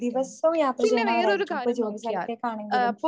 ദിവസവും യാത്ര ചെയ്യണവരായിരിക്കും. ഇപ്പോ ജോലിസ്ഥലത്തേക്കാണെങ്കിലും